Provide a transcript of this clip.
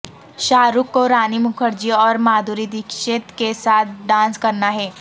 شاہ رخ کو رانی مکھرجی اور مادھوری ڈکشت کے ساتھ ڈانس کرنا ہے